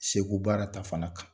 Segu baara ta fanga kan